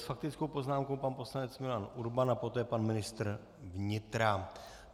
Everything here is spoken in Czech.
S faktickou poznámkou pan poslanec Milan Urban a poté pan ministr vnitra.